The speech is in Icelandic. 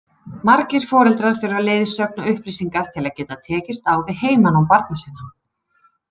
Margir foreldrar þurfa leiðsögn og upplýsingar til að geta tekist á við heimanám barna sinna.